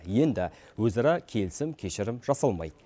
енді өзара келісім кешірім жасалмайды